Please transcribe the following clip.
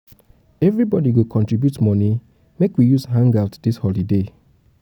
everybodi go contribute moni make we use am hang-out dis holiday.